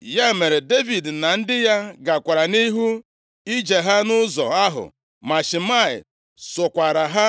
Ya mere, Devid na ndị ya gakwara nʼihu ije ha nʼụzọ ahụ ma Shimei sokwara ha